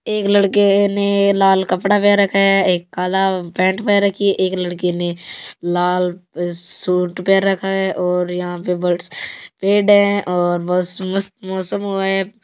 एक लड़के ने लाल कपडा पहन रखा है एक काला पेण्ट पहन रखी है एक लड़की ने लाल सूट पहन रखी है यह पर पेड़ है मस्त मौसम हुआ है।